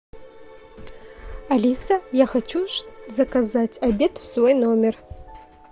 алиса я хочу заказать обед в свой номер